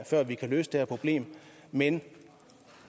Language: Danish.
før vi kan løse det her problem men